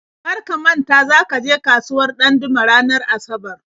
Kar ka manta za ka je kasuwar Ɗandume ranar Asabar!